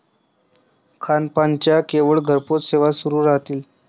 खानपानाच्या केवळ घरपोच सेवा सुरू राहतील.